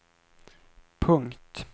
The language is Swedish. punkt